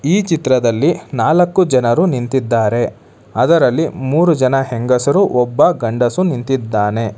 ಈ ಚಿತ್ರದಲ್ಲಿ ನಾಲಕ್ಕು ಜನರು ನಿಂತಿದ್ದಾರೆ ಅದರಲ್ಲಿ ಮೂರು ಜನ ಹೆಂಗಸರು ಒಬ್ಬ ಗಂಡಸು ನಿಂತಿದ್ದಾನೆ.